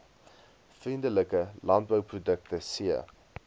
vriendelike landbouprodukte c